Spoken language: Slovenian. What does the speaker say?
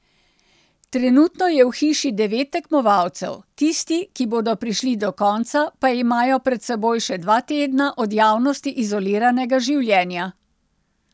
Trenutno je v hiši devet tekmovalcev, tisti, ki bodo prišli do konca, pa imajo pred seboj še dva tedna od javnosti izoliranega življenja.